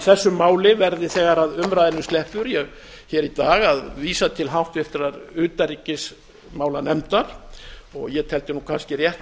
þessu máli verði þegar að umræðunni sleppur hér í dag að vísa til háttvirtrar utanríkismálanefndar ég teldi nú kannski rétt